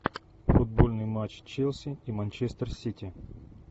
футбольный матч челси и манчестер сити